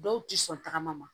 Dɔw ti sɔn tagama ma